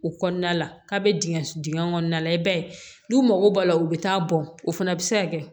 O kɔnɔna la k'a bɛ dingɛ dingɛ kɔnɔna la i b'a ye n'u mago b'a la u bɛ taa bɔn o fana bɛ se ka kɛ